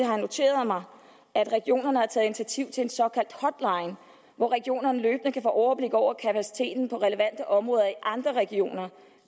noteret mig at regionerne har taget initiativ til en såkaldt hotline hvor regionerne løbende kan få overblik over kapaciteten på relevante områder i andre regioner